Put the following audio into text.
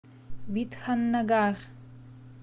бидханнагар